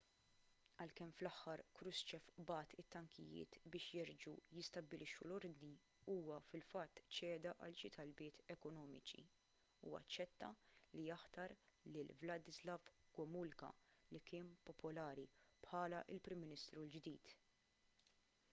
għalkemm fl-aħħar krushchev bagħat it-tankijiet biex jerġgħu jistabbilixxu l-ordni huwa fil-fatt ċeda għal xi talbiet ekonomiċi u aċċetta li jaħtar lil wladyslaw gomulka li kien popolari bħala l-prim ministru l-ġdid